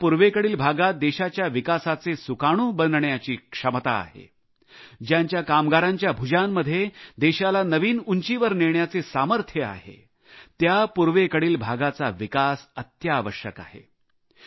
ज्या पूर्वेकडील भागात देशाच्या विकासाचे सुकाणू बनण्याची क्षमता आहे ज्यांच्या कामगारांच्या भुजांमध्ये देशाला नवीन उंचीवर नेण्याचे सामर्थ्य आहे त्या पूर्वेकडील भागाचा विकास अत्यावश्यक आहे